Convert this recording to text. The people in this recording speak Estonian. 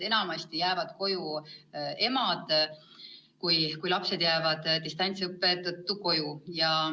Enamasti jäävad koju emad, kui lapsed jäävad distantsõppe tõttu koju.